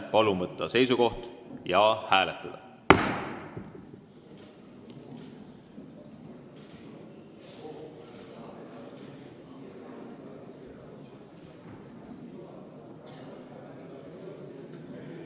Palun võtta seisukoht ja hääletada!